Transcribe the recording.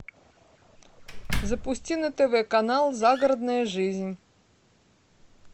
запусти на тв канал загородная жизнь